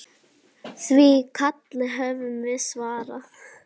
Því kalli höfum við svarað.